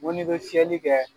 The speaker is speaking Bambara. n ko n'i bɛ fiyɛli kɛ.